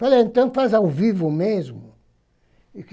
Falei, então faz ao vivo mesmo.